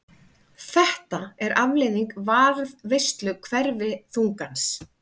Þetta er afleiðing varðveislu hverfiþungans.